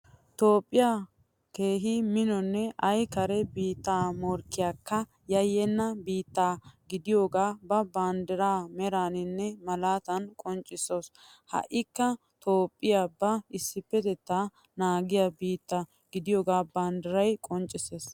Toophphiya keehi minonne ay kare biittaa morkkiyakka yayyenna biitta gidiyogaa ba banddiraa meraaninne malaatan qonccissaasu. Ha"ikka toophphiya ba issippetettaa naagiya biitta gidiyogaa banddiray qonccissees.